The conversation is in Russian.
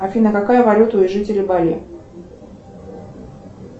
афина какая валюта у жителей бали